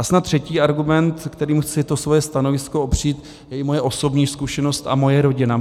A snad třetí argument, kterým chci to svoje stanovisko opřít, je i moje osobní zkušenost a moje rodina.